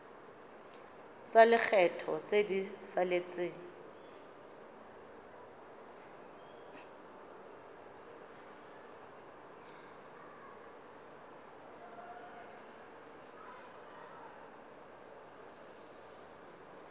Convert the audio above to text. tsa lekgetho tse di saletseng